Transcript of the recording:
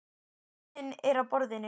Penninn er á borðinu.